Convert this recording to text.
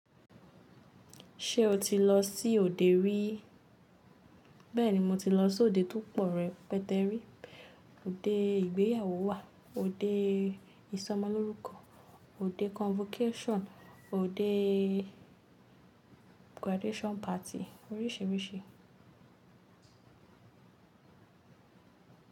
Ṣé o ti lọ sí òde rí? Bẹ́ẹ̀ni, mo ti lọ sí òde tó pọ̀ rẹpẹtẹ rí. Òde ìgbéyàwó wà, òde ìsọmọlórúkọ, òde convocation, òde graduation party oríṣìíríṣìí.